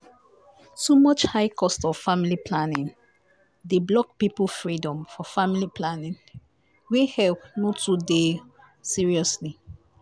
fear of side effects dey make health or body matter or body matter bad for areas wey no get help as in.